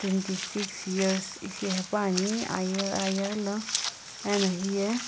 six years ishi haepa ni iyaghi lo ano heye.